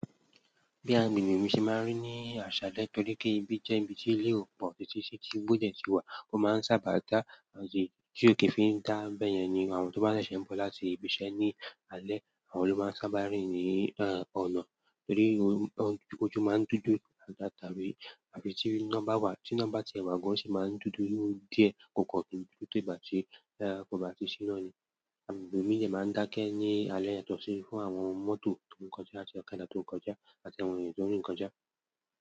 Bí agbègbè mi ṣe máa ń rí ní àṣàle tori pe ibi jẹ́ ibi tí ilé o ọ̀pọ̀, tí igbo de ti wà, ó máa ń sábà dá Ti o kí fi ń dá nbẹ́ yẹn ni àwọn tó bá ṣẹ̀ṣẹ̀ ń bọ̀ láti ibi iṣẹ́ ní alẹ́, àwọn ló máa ń sábà rìn ní ọ̀nà, torí ojú máa ń dúdú àbí tí iná bá wa, tí iná bá ti ẹ̀ wà gán o ṣi máa ń dúdú díẹ̀ kò kọ̀ kin dúdú to igba tí kò bá ti sí iná ni. Agbègbè mí dẹ̀ máa ń dákẹ́ ní alẹ́ yàtọ̀ sí fún àwọn mọ́tò tó ń kọjá àti ọ̀kadà tó ń kọjá àti àwọn ènìyàn tó ń rin kọjá.